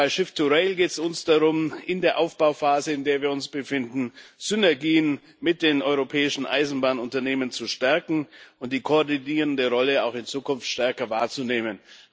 Bei Shift2Rail geht es uns darum, in der Aufbauphase, in der wir uns befinden, Synergien mit den europäischen Eisenbahnunternehmen zu stärken und die koordinierende Rolle auch in Zukunft stärker wahrzunehmen.